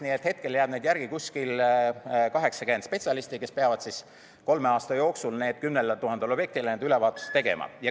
Nii et hetkel jääb järgi kuskil 80 spetsialisti, kes peavad kolme aasta jooksul 10 000 objektile ülevaatuse tegema.